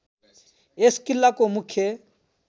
यस किल्लाको मुख्य